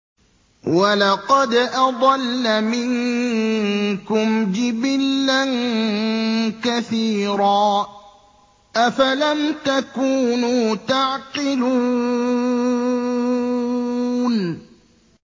وَلَقَدْ أَضَلَّ مِنكُمْ جِبِلًّا كَثِيرًا ۖ أَفَلَمْ تَكُونُوا تَعْقِلُونَ